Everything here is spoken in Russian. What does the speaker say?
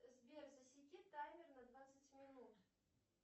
сбер засеки таймер на двадцать минут